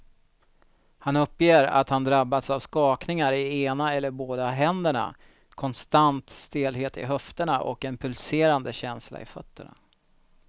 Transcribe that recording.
Han uppger att han drabbas av skakningar i ena eller båda händerna, konstant stelhet i höfterna och en pulserande känsla i fötterna.